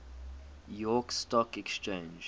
york stock exchange